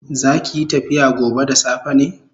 Zakiyi tafiya gobe da safe ne?